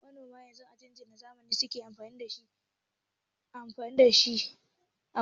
Manoma yanzu injinan zamani suke amfani dashi a gona.